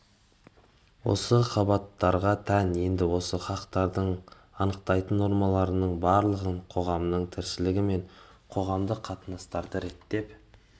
осы қабаттарға тән енді осы хақтарды анықтайтын нормалардың барлығын қоғамның тіршілігі мен қоғамдық қатынастарды реттеп